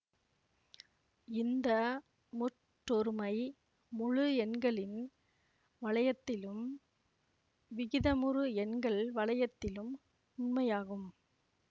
இந்த முற்றொருமை முழு எண்களின் வளையத்திலும் விகிதமுறு எண்கள் வளையத்திலும் உண்மையாகும்